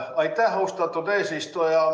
Aitäh, austatud eesistuja!